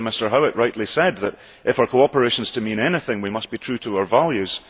As Mr Howitt rightly said, if our cooperation is to mean anything, we must be true to our values.